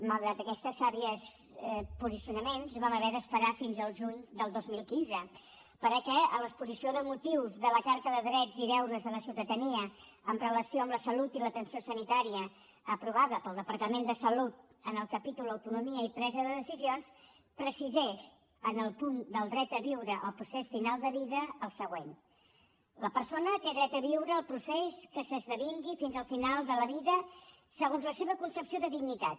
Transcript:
malgrat aquests savis posicionaments vam haver d’esperar fins al juny del dos mil quinze perquè a l’exposició de motius de la carta de drets i deures de la ciutadania amb relació a la salut i l’atenció sanitària aprovada pel departament de salut en el capítol autonomia i presa de decisions precisés en el punt del dret a viure el procés final de vida el següent la persona té dret a viure el procés que s’esdevingui fins al final de la vida segons la seva concepció de dignitat